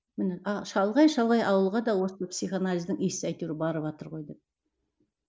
міне а шалғай шалғай ауылға да осы психоанализдің иісі әйтеуір барыватыр ғой деп